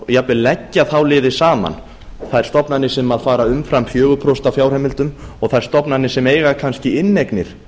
jafnvel leggja þá liði saman þær stofnanir sem fara umfram fjögur prósent á fjárheimildum og þær stofnanir sem eiga kannski inneignir